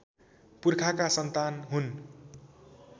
पुर्खाका सन्तान हुन्